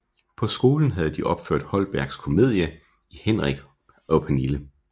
På skolen havde de opført Holbergs komedie Henrik og Pernille